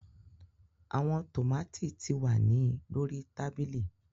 Awọn tomati ti wa ni lori tabili.